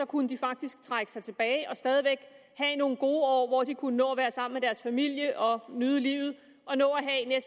kunne de faktisk trække sig tilbage og stadig væk have nogle gode år hvor de kunne nå at være sammen med deres familie og nyde livet og nå at